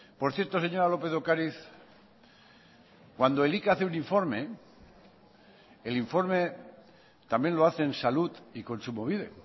por cierto señora lópez de ocariz cuando elika hace un informe el informe también lo hacen salud y kontsumobide